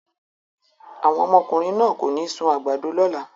Àwọn ọmọkùnrin náà kò ní sun àgbàdo lọ́la!